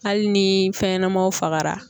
Hali ni fɛnɲɛnamaw fagara